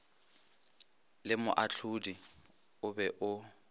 le moahlodi o be o